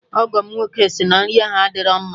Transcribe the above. Ọgọ m nwoke sị na nri ahụ adịrọ mma